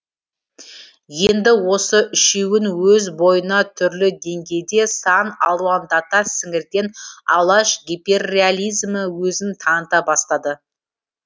енді осы үшеуін өз бойына түрлі деңгейде сан алуандата сіңірген алаш гипперреализмі өзін таныта бастады